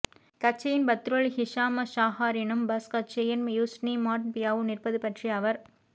கட்சியின் Badrul Hisham ஷாஹாரினும் PAS கட்சியின் யூஸ்னி மாட் பியாவும் நிற்பது பற்றி அவர்